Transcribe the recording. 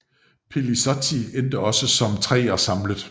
Pellizotti endte også som treer samlet